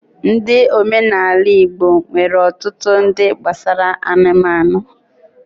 Ndi omenala ala-igbo nwere otutu ndi gbasara anụmanụ